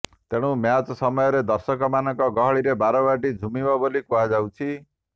ତେଣୁ ମ୍ୟାଚ୍ ସମୟରେ ଦର୍ଶକମାନଙ୍କ ଗହଳିରେ ବାରବାଟୀ ଝୁମିବ ବୋଲି କୁହାଯାଉଛି